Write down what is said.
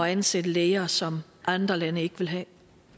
at ansætte læger som andre lande ikke vil have